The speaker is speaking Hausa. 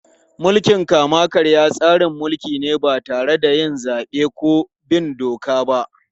Mulkin kama-karya tsarin mulki ne ba tare da zabe ko bin doka ba.